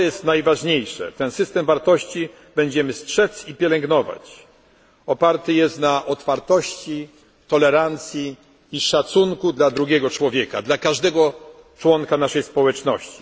systemu wartości. Najważniejsze jest to, że system wartości, którego będziemy strzec i pielęgnować, oparty jest na otwartości, tolerancji i szacunku dla drugiego człowiek, dla każdego członka naszej